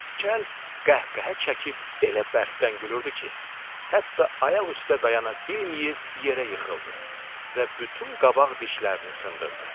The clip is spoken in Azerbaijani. Kəl qəhqəhə çəkib elə bərkdən gülürdü ki, hətta ayaq üstə dayana bilməyib yerə yıxıldı və bütün qabaq dişlərini sındırdı.